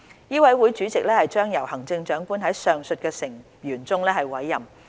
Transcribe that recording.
委員會主席將由行政長官在上述成員中委任。